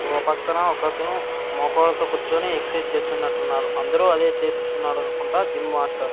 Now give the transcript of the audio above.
ఓ పక్కన ఒకకతను మోకాళ్ళతో కూర్చొని ఎక్సైజ్ చేస్తున్నట్లున్నాడు అందరూ అదే చేపిస్తున్నాడనుకుంటా జిమ్ మాస్టర్ .